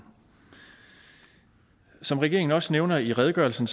som regeringen også nævner i redegørelsen